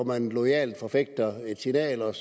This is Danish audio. man loyalt forfægter et signal og